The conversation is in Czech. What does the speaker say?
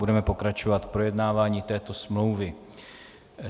Budeme pokračovat v projednávání této smlouvy.